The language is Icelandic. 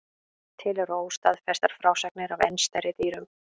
Til eru óstaðfestar frásagnir af enn stærri dýrum.